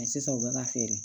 sisan u bɛ ka feere